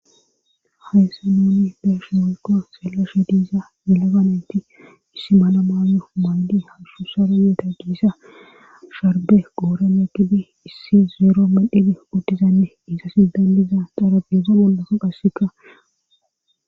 Hayssa nuunni beeshe woykko selashe diisa yelaga neyti issi mala mayo maaydi hashu saro yideta giiza sharbe qooren yeggidi issi zeero medhidi uddizanne issa sidanliza xarabeeza mollaka qasseka.